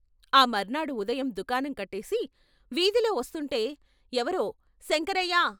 ఆ మర్నాడు ఉదయం దుకాణం కట్టేసి వీధిలో వస్తుంటే ఎవరో "శంక రయ్యా!